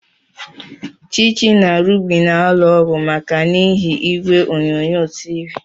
Chichi na Ruby na-alụ ọgụ maka n'ihi igwe onyonyo TV.